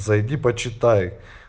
зайди почитай